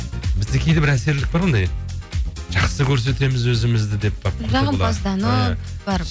бізде кейде бір әсерлік бар ондай жақсы көрсетеміз өзімізді деп барып жағымпаздану иә бар